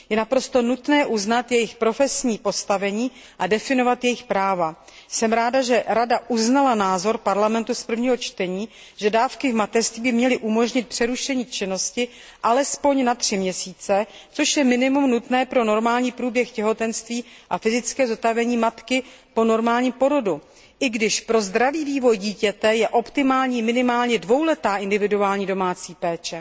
Je naprosto nutné uznat jejich profesní postavení a definovat jejich práva. Jsem ráda, že Rada uznala názor Parlamentu z prvního čtení, že dávky v mateřství by měly umožnit přerušení činnosti alespoň na tři měsíce, což je minimum nutné pro normální průběh těhotenství a fyzické zotavení matky po normálním porodu, i když pro zdravý vývoj dítěte je optimální minimálně dvouletá individuální domácí péče.